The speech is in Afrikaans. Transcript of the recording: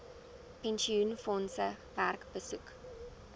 pensioenfondse werk besoek